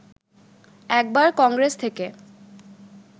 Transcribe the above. একবার কংগ্রেস থেকে